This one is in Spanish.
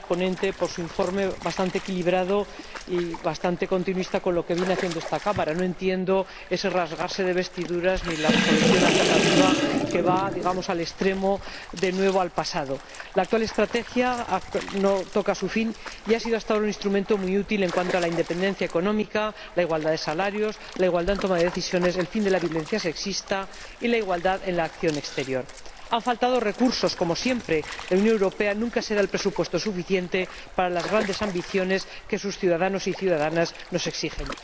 Señora Presidenta, quisiera felicitar a la ponente por su informe bastante equilibrado y bastante continuista con lo que viene haciendo esta Cámara. No entiendo ese rasgarse las vestiduras ni la Resolución alternativa que va digamos al extremo, de nuevo al pasado. La actual Estrategia toca a su fin y ha sido hasta ahora un instrumento muy útil en cuanto a la independencia económica, la igualdad de salarios, la igualdad en la toma de decisiones, el fin de la violencia sexista y la igualdad en la acción exterior. Han faltado recursos, como siempre la Unión Europea nunca se da el presupuesto suficiente para las grandes ambiciones que sus ciudadanos y ciudadanas nos exigen.